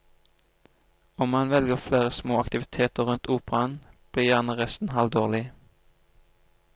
Om man velger flere små aktiviteter rundt operaen, blir gjerne resten halvdårlig.